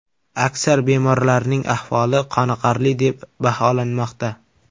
Aksar bemorlarning ahvoli qoniqarli deb baholanmoqda.